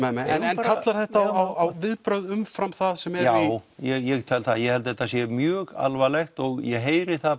nei en kallar þetta á viðbrögð umfram það sem er já ég tel það ég held þetta sé mjög alvarlegt og ég heyri það